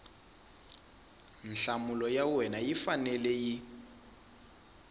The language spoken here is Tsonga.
nhlamulo ya wena yi fanele